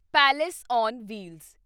palace on wheels